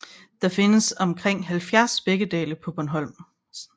Der findes omkring 70 sprækkedale på Bornholm